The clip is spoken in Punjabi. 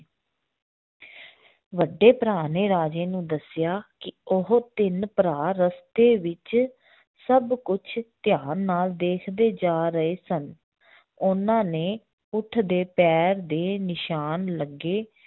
ਵੱਡੇ ਭਰਾ ਨੇ ਰਾਜੇ ਨੂੰ ਦੱਸਿਆ ਕਿ ਉਹ ਤਿੰਨ ਭਰਾ ਰਸਤੇ ਵਿੱਚ ਸਭ ਕੁਛ ਧਿਆਨ ਨਾਲ ਦੇਖਦੇ ਜਾ ਰਹੇ ਸਨ ਉਹਨਾਂ ਨੇ ਊਠ ਦੇ ਪੈਰ ਦੇ ਨਿਸ਼ਾਨ ਲੱਗੇ